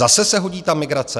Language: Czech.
Zase se hodí ta migrace?